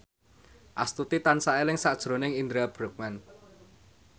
Astuti tansah eling sakjroning Indra Bruggman